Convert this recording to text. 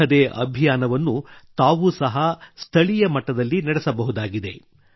ಇಂಥದ್ದೇ ಅಭಿಯಾನವನ್ನು ತಾವೂ ಸಹ ಸ್ಥಳೀಯ ಮಟ್ಟದಲ್ಲಿ ನಡೆಸಬಹುದಾಗಿದೆ